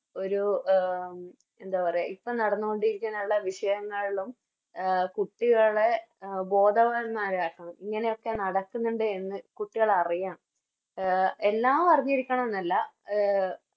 ഒരു എന്താ പറയാ ഇപ്പൊ നടന്നോണ്ടിരിക്കുന്ന ഉള്ള വിഷയങ്ങളിലും അഹ് കുട്ടികളെ ബോധവാന്മാരാക്കണം ഇങ്ങനെയൊക്കെ നടക്കുന്നുണ്ട് എന്ന് കുട്ടികൾ അറിയണം എല്ലാം അറിഞ്ഞിരിക്കണമെന്നല്ല അഹ്